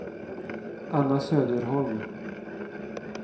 Anna Söderholm